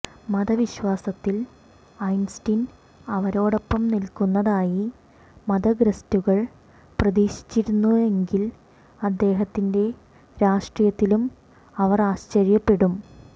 മതവിശ്വാസത്തിൽ Einstein അവരോടൊപ്പം നിൽക്കുന്നതായി മതഗ്രസ്റ്റുകൾ പ്രതീക്ഷിച്ചിരുന്നെങ്കിൽ അദ്ദേഹത്തിന്റെ രാഷ്ട്രീയത്തിലും അവർ ആശ്ചര്യപ്പെടും